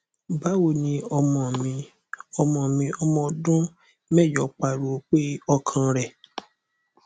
bawo ni ọmọ mi ọmọ mi ọmọ ọdun mẹjọ pariwo pe ọkan rẹ